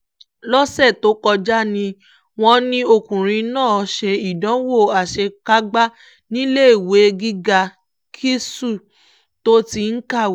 lọ́sẹ̀ tó kọjá ni wọ́n ní ọkùnrin náà ṣe ìdánwò àṣekágbá níléèwé gíga ksu tó ti ń kàwé